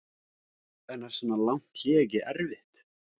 En er svona langt hlé ekki erfitt?